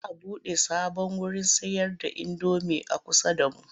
Za a buɗe sabon wurin sayarda indomi a kusa da mu.